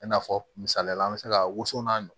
I n'a fɔ misaliya la an bɛ se ka woso n'a